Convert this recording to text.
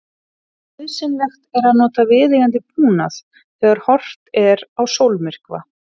Nauðsynlegt er að nota viðeigandi búnað þegar horft er á sólmyrkva.